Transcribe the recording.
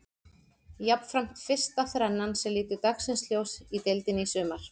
Jafnframt fyrsta þrennan sem lítur dagsins ljós í deildinni í sumar.